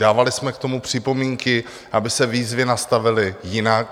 Dávali jsme k tomu připomínky, aby se výzvy nastavily jinak.